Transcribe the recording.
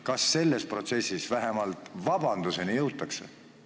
Kas selles protsessis vähemalt vabanduse palumiseni jõutakse?